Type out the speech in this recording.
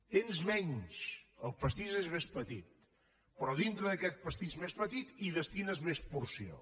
tens menys el pastís és més petit però dintre d’aquest pastís més petit hi destines més porció